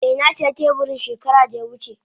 Eh na siya teburin shekara da ya wuce.